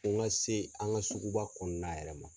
Fo n ka se an ka sugu ba kɔnɔna yɛrɛ ma.